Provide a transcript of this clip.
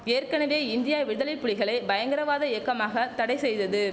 ஏற்கனவே இந்தியா விடுதலைப்புலிகளை பயங்கரவாத இயக்கமாக தடை செய்தது